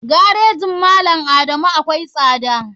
Garejin malam adamu akwai tsada.